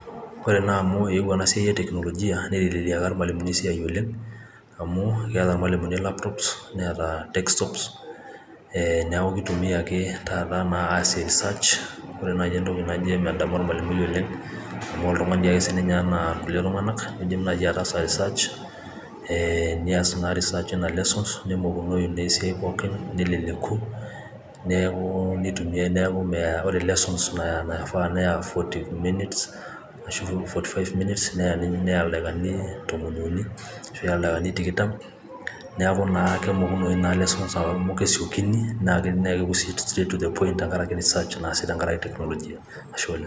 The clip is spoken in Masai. Ore naa amu eewuo enasiai e Teknologia neiteleliaka ilmalimuni esiai oleng' amu keeta ilmalimuni laptops neeta desktops neeku keitumia ake taata naa aasie research ore naaji entoki naijo emedamu olmalimui oleng' amu oltung'ani dii ake sii ninye anaa kulie tung'anak, keidim naaji ataasa research nias naa research eina lesson nemokunoyu naa esiai pooki neleleku neeku ore lesson naifaa neya forty minutes ashu forty five minutes neya ildaikani tomoniuni ashu eya ildaikani tikitam neeku naa kemokunoyu naa lessons amu kesiokini naa kepuoi sii straight to the point tenkarake research naasi tenkarake teknologia.